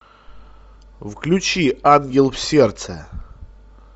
включи ангел в сердце